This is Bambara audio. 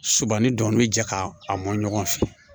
Suman ni dɔn bi jɛ ka a mɔn ɲɔgɔn fɛ